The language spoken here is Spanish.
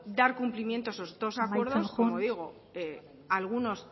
dar cumplimiento a esos dos acuerdos amaitzen joan como digo algunos